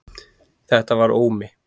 Þetta var Ómi.